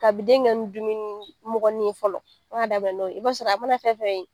A bi den kɛ ni dumuni mɔgɔni ye fɔlɔ , an ba n'o ye . I b'a sɔrɔ a mana fɛn fɛn ye